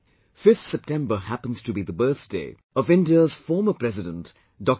5th September happens to be the birthday of India's former President Dr